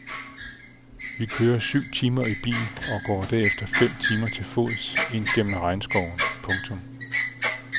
Vi kører syv timer i bil og går derefter fem timer til fods ind gennem regnskoven. punktum